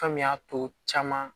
Fɔami y'a to caman